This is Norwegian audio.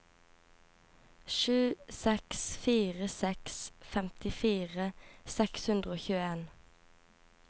sju seks fire seks femtifire seks hundre og tjueen